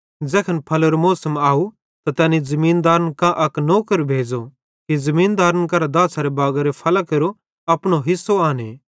ज़ैखन फल्लेरो मौसम आव त तैनी ज़मीनदारन कां अक नौकर भेज़ो कि ज़मीनदारन केरां दाछ़ारे बागारे फल्लां केरो अपनो हिस्सो आने